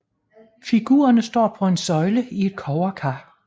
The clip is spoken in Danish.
Figurerne står på en søjle i et kobberkar